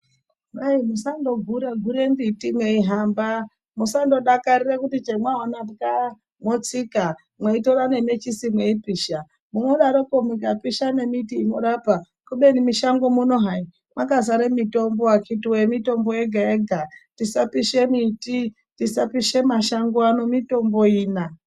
Kwai musando gura gura mbiti mei hamba musando dakarire kuti chamawana pwa motsika mwei tora ne mechisi mei pisha unodaroko unya pisha ne miti inorapa kubeni mishango muno hai maka zare mitombo akiti chidhuwe mitombo yega yega tisa pishe miti tisa pishe masango ano mitombo ina.